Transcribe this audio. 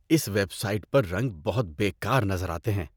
اس website پر رنگ بہت بے کار نظر آتے ہیں۔